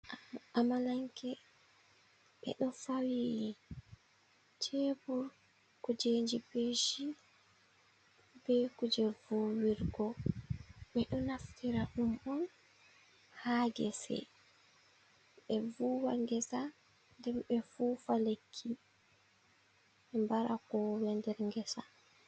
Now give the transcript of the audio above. Amalanke ɓe do fawii cebur kujeji peshi be kuje vuwirgo ɓe do naftira ɗum on ha gese be vuwa gesa den ɓe fufa lekki ɓe kowowe nder gesa.